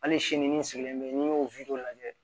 Hali sini n sigilen bɛ n y'o lajɛ